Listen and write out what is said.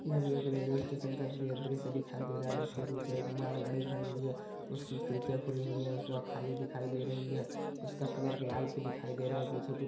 ये अभी एक रेल्वे स्टेशन का द्रु द्रुष्य दिखाई दे रहा है जिसके पीछे एक मालगाड़ी खड़ी हुई है उसकी खिड्किया खुली हुई है उसवा खाली दे रही है उसका कलर लाइट दिखाई दे रहा है पीछे कुछ--